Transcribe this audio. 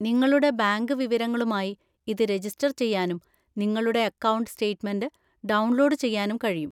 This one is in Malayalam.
നിങ്ങളുടെ ബാങ്ക് വിവരങ്ങളുമായി ഇത് രജിസ്റ്റർ ചെയ്യാനും നിങ്ങളുടെ അക്കൗണ്ട് സ്റ്റേറ്റ്മെന്റ് ഡൗൺലോഡ് ചെയ്യാനും കഴിയും.